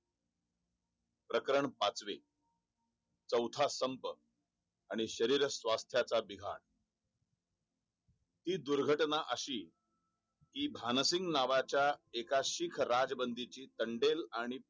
प्रकरण पाचवें चौथा स्तंभ आणि शरीर स्वास्थ्या चा अभि घात ही दुर्घटना अशी ही भान सिंग नावा च्या एका शीख राज बंदी ची तांडेल आणि